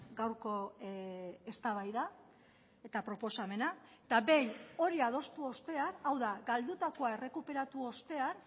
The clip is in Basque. gaurko eztabaida eta proposamena eta behin hori adostu ostean hau da galdutakoa errekuperatu ostean